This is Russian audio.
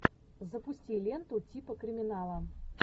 запусти ленту типа криминала